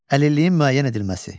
Əlilliyin müəyyən edilməsi.